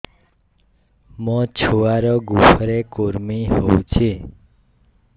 ମୋ ଛୁଆର୍ ଗୁହରେ କୁର୍ମି ହଉଚି